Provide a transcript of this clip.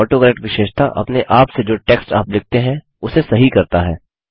autocorrect विशेषता अपने आप से जो टेक्स्ट आप लिखते हैं उसे सही करता है